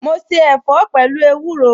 Mo se ẹ̀fọ́ pẹ̀lú ewúro